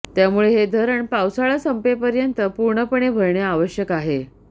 त्यामुळे हे धरण पावसाळा संपेपर्यंत पूर्णपणे भरणे आवश्यक आहे